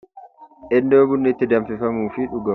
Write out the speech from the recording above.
Iddoo bunni itti danfifamuu fi dhugamu.